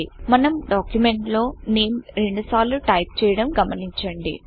మన డాక్యుమెంట్ లో NAMEనేమ్ రెండు సార్లు టైపు చేయడం గమనించండి